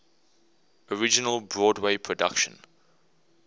original broadway production